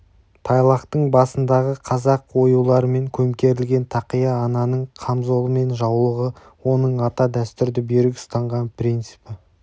тайлақтың басындағы қазақ оюларымен көмкерілген тақия ананың қамзолы мен жаулығы оның ата дәстүрді берік ұстанған принципі